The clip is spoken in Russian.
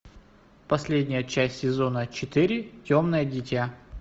последняя часть сезона четыре темное дитя